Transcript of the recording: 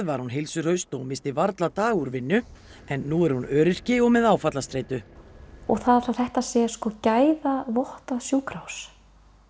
var hún heilsuhraust og missti varla dag úr vinnu en nú er hún öryrki og með áfallastreitu og það að þetta sé sko sjúkrahús